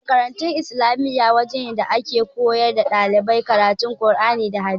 Makarantar islamiya waje ne da ake koyawa ɗalibai karatu qur'ani da hadisi